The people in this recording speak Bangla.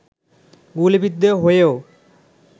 গুলিবিদ্ধ হয়েও